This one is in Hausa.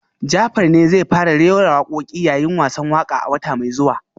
Jafar ne zai fara rera wakoki yayin wasan waka a wata mai zuwa